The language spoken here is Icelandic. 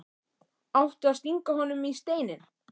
Átti að stinga honum í Steininn?